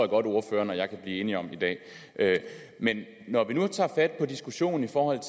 godt at ordføreren og jeg kan blive enige om i dag men når vi nu tager fat på diskussionen i forhold